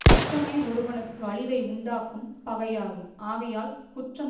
குற்றமே ஒருவனுக்கு அழிவை உண்டாக்கும் பகையாகும் ஆகையால் குற்றம்